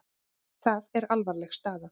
Það er alvarleg staða.